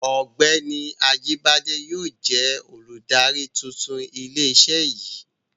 Ọ́gbẹ́ni Ajíbádé yóò jẹ olùdarí tuntun ilé iṣé yìí.